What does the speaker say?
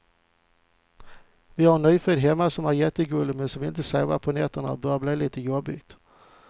Vi har en nyfödd hemma som är jättegullig, men som inte vill sova på nätterna och det börjar bli lite jobbigt.